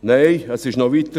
Nein, es ging noch weiter: